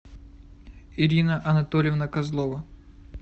ирина анатольевна козлова